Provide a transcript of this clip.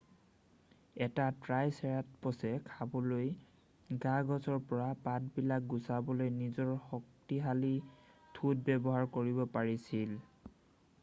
এটা ট্ৰাইচেৰাটপছে খাবলৈ গা-গছৰ পৰা পাতবিলাক গুচাবলৈ নিজৰ শক্তিশালী ঠোঁট ব্যৱহাৰ কৰিব পাৰিছিল